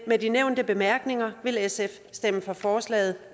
med de nævnte bemærkninger vil sf stemme for forslaget